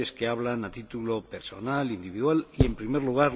Herr Präsident, Frau Kommissarin, liebe Kolleginnen und Kollegen!